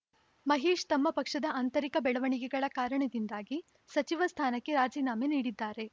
ಮಹೇಶ್‌ ತಮ್ಮ ಪಕ್ಷದ ಆಂತರಿಕ ಬೆಳವಣಿಗೆಗಳ ಕಾರಣದಿಂದಾಗಿ ಸಚಿವ ಸ್ಥಾನಕ್ಕೆ ರಾಜೀನಾಮೆ ನೀಡಿದ್ದಾರೆ